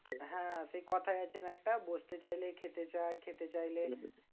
হ্যাঁ হ্যাঁ সেই কোথায় আছে না একটা? বসতে চাইলে খেতে চায় খেতে চাইলে